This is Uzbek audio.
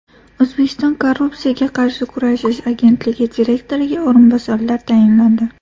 O‘zbekiston Korrupsiyaga qarshi kurashish agentligi direktoriga o‘rinbosarlar tayinlandi.